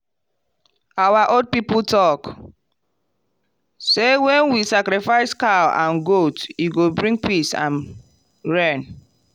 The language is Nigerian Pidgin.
our old people talk say when we sacrifice cow and goat e go bring peace and rain.